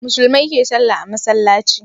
Musulmai ke sallah a masallaci